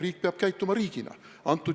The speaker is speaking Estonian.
Riik peab käituma riigina.